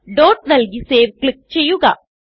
dot നല്കി save click ചെയ്യുക